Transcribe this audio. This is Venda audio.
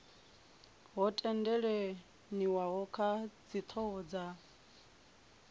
ho tendelaniwa kha dzithoho dza